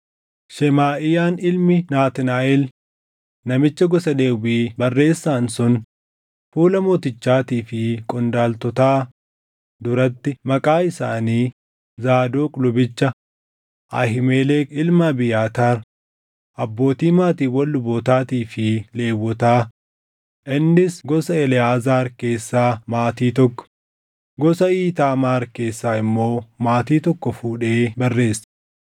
Shemaaʼiyaan ilmi Naatnaaʼel namicha gosa Lewwii barreessaan sun fuula mootichaatii fi qondaaltotaa duratti maqaa isaanii Zaadoq lubicha, Ahiimelek ilma Abiyaataar, abbootii maatiiwwan lubootaatii fi Lewwotaa, innis gosa Eleʼaazaar keessaa maatii tokko, gosa Iitaamaar keessaa immoo maatii tokko fuudhee barreesse.